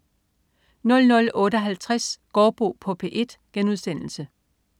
00.58 Gaardbo på P1*